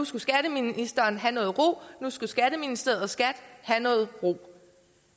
skulle skatteministeren have ro at nu skulle skatteministeriet og skat have ro